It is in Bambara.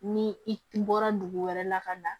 Ni i bɔra dugu wɛrɛ la ka na